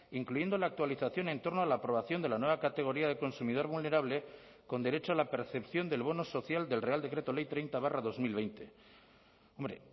incluyendo la actualización en torno a la aprobación de la nueva categoría de consumidor vulnerable con derecho a la percepción del bono social del real decreto ley treinta barra dos mil veinte hombre